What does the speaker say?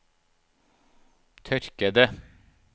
tørkede